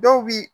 Dɔw bi